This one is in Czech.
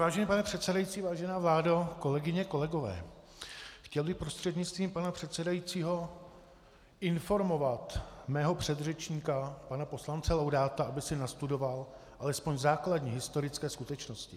Vážený pane předsedající, vážená vládo, kolegyně, kolegové, chtěl bych prostřednictvím pana předsedajícího informovat mého předřečníka pana poslance Laudáta, aby si nastudoval alespoň základní historické skutečnosti.